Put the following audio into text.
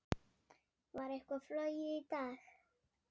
Var eitthvað flogið í dag?